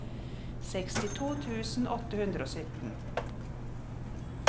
sekstito tusen åtte hundre og sytten